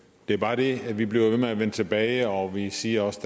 det er bare det at vi bliver ved med at vende tilbage og vi siger også